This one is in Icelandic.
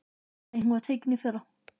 Nei, hún var tekin í fyrra.